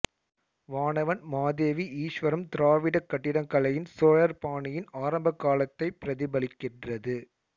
வானவன் மாதேவி ஈஸ்வரம் திராவிடக் கட்டிடக்கலையின் சோழர் பாணியின் ஆரம்பகாலத்தைப் பிரதிபலிக்கின்றது